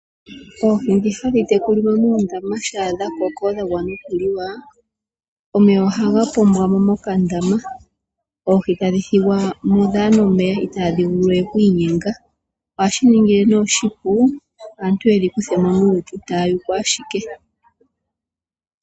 Oohi dhi hadhi tekulilwa muundama sha dha koko dha gwana okuliwa, omeya ohaga pombwa mo mokandama, oohi tadhi thigwa mo kadhina omeya itadhi vulu we oku inyenga, ohashi ningi ne oshipu opo aantu yedhikuthe mo nuupu taya yuku ashike.